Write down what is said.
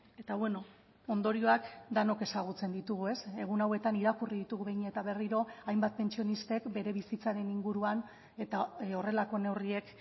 eta beno ondorioak denok ezagutzen ditugu egun hauetan irakurri ditugu behin eta berriro hainbat pentsionistek bere bizitzaren inguruan eta horrelako neurriek